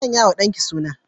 Ki sanyawa dan ki suna.